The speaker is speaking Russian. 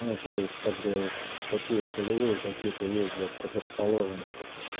ну то есть как бы такие солевые какие-то есть блять предрасположенности